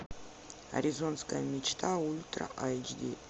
аризонская мечта ультра эйч ди